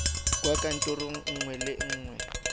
kwa kantorong nngwe le nngwe